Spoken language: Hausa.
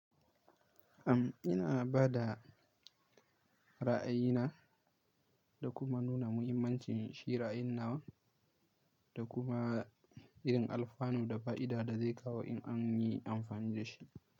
Am ina bada ra'ayina da kuma nuna muhimmancin shi ra'ayin nawa da kuma irin alfanu da fa'ida da zai kawo in an yi amfani da shi.